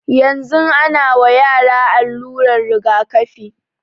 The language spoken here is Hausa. Yanzun ana wa yara aluran jigakafi